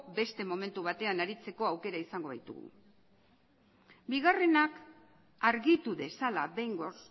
beste momentu batean aritzeko aukera izango baitugu bigarrena argitu dezala behingoz